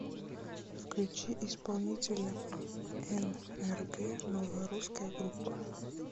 включи исполнителя нрг новая русская группа